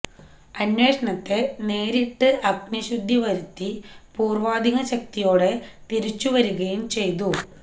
അന്വേഷണത്തെ നേരിട്ട് അഗ്നിശുദ്ധി വരുത്തി പൂര്വ്വാധികം ശക്തിയോടെ തിരിച്ചുവരികയും ചെയ്തു